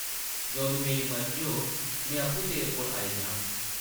जदूं मेरी मर्जी होग, में आपूं तेरे कोल आई जाङ ।